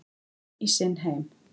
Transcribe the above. Inn í sinn heim.